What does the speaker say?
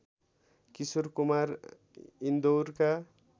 Kishore Kumar इन्दौरका